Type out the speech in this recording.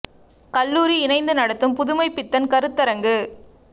கல்லூரி இணைந்து நடத்தும் புதுமைப் பித்தன் கருத்தரங்கு